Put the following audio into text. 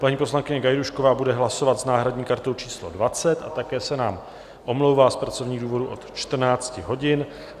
Paní poslankyně Gajdůšková bude hlasovat s náhradní kartou číslo 20 a také se nám omlouvá z pracovních důvodů od 14 hodin.